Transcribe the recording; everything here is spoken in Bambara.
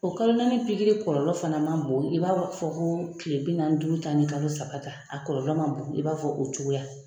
O kalo naani pikiri kɔlɔlɔ fana man bon i b'a fɔ ko kile bi naani ni duuru ta ni kalo saba ta a kɔlɔlɔ man bon i b'a fɔ o cogoya.